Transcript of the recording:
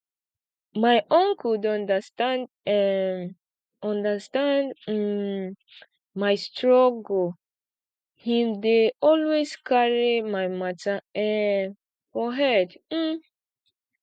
my uncle dey understand um understand um my struggle him dey always carry my mata um for head um